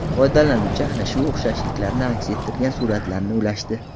Foydalanuvchi ana shu o‘xshashliklarni aks ettirgan suratlarni ulashdi .